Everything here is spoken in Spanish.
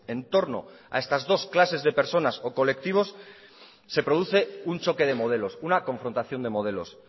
en torno a estas dos clases de personas o colectivos se produce un choque de modelos una confrontación de modelos